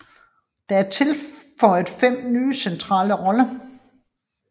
Der er tilføjet fem nye centrale roller